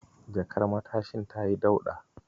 Jakar matashin tayi dauɗa.